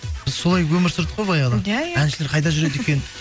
біз солай өмір сүрдік қой баяғыда иә иә әншілер қайда жүреді екен